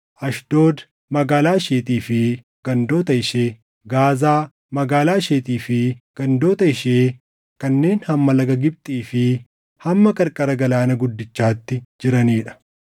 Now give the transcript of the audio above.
Ashdood, magaalaa isheetii fi gandoota ishee, Gaazaa, magaalaa isheetii fi gandoota ishee kanneen hamma Laga Gibxii fi hamma qarqara Galaana Guddichaatti jiranii dha.